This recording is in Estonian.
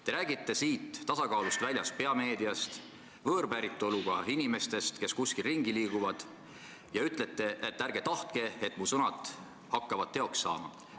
Teie räägite siin tasakaalust väljas olevast peavoolumeediast, võõrpäritolu inimestest, kes kuskil ringi liiguvad, ja ütlete, et ärge tahtke, et mu sõnad hakkavad teoks saama.